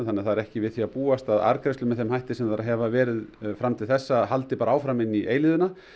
þannig að það er ekki við því að búast að arðgreiðslur með þeim hætti sem þær hafa verið fram til þessa haldi bara áfram inn í eilífðina